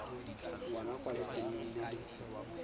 ngwana kwa lefelong le le